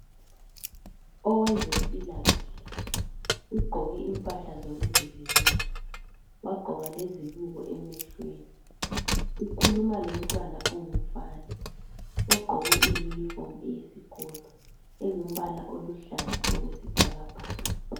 Owezempilakahle ugqoke impahla zokuzivikela wagqoka lezibiko emehlweni ukhuluma lo mntwana ongumfana ogqoke iyunifomu eluhlaza okwesibhakabha.